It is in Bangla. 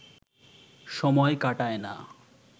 সময় কাটায় না